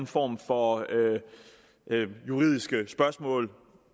form for juridiske spørgsmål